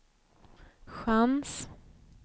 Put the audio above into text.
chans